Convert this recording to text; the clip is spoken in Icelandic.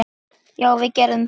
Já, við gerum það.